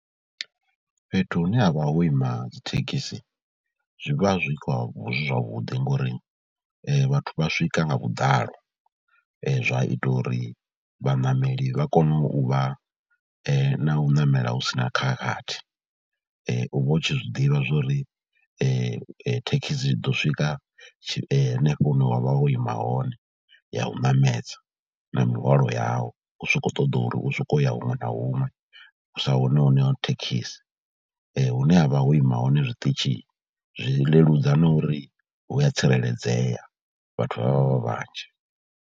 Fhethu hune ha vha ho ima dzithekhisi zwi vha zwi vha zwi zwavhuḓi ngori vhathu vha swika nga vhuḓalo, zwa ita uri vhaṋameli vha kone u vha na u namela hu si na khakhathi. U vha u tshi zwi ḓivha zwa uri thekhisi i ḓo swika henefho hune wa vha wo ima hone ya u ṋamedza na mihwalo yau. U so kho ṱoḓa uri u sokou u ya huṅwe na huṅwe hu sa wane home thekhisi, hune ha vha ho ima hone zwiṱitshi zwi leludza na uri hu a tsireledzea, vhathu vha vha vha vhanzhi.